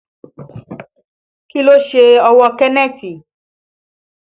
Kí ló ṣe ọwọ́ Kenneth?